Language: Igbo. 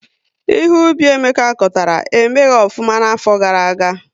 Ihe Ubi Emeka kọtara, emeghị ofụma na afo gara-aga